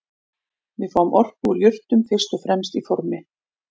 Við fáum orku úr jurtum fyrst og fremst í formi